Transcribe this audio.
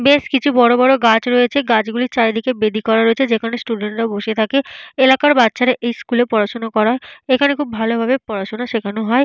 বেশ কিছু বড় বড় গাছ রয়েছে। গাছগুলোর চারিদিকে বেদি করা রয়েছে। যেখানে স্টুডেন্ট - রা বসে থাকে। এলাকার বাচ্চারা স্কুল -এ পড়াশোনা করায় এখানে খুব ভালোভাবে পড়াশোনা শেখানো হয়।